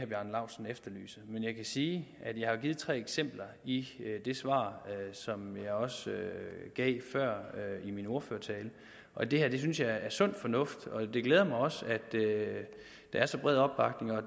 bjarne laustsen efterlyser men jeg kan sige at jeg har givet tre eksempler i det svar som jeg også gav før i min ordførertale og det her synes jeg er sund fornuft det glæder mig også at der er så bred opbakning og